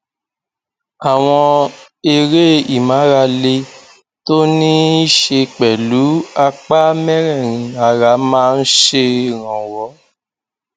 àwọn eré ìmárale tó ní í ṣe pẹlú apá mẹrẹẹrin ara máa ń ṣèrànwọ